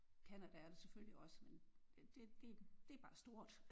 Canada er der selvfølgelig også men det det det er bare stort